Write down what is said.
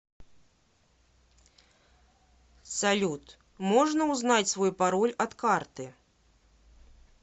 салют можно узнать свой пароль от карты